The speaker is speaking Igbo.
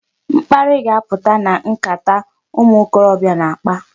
Mkparị ga-apụta na nkata a ụmụ okorobịa na-akpa.